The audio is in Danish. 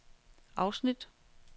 afsnit